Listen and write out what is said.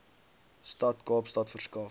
stad kaapstad verskaf